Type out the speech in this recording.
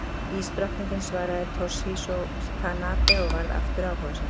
Ísdrottningin, svaraði Toshizo Tanabe og varð áftur áhugasamur.